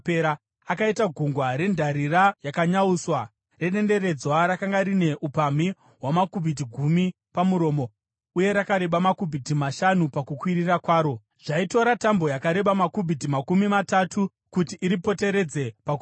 Akaita Gungwa reNdarira yakanyauswa, redenderedzwa rakanga rine upamhi hwamakubhiti gumi pamuromo, uye rakareba makubhiti mashanu pakukwirira kwaro. Zvaitora tambo yakareba makubhiti makumi matatu kuti iripoteredze pakuyera.